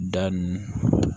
Da nun